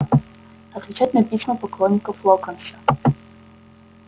отвечать на письма поклонников локонса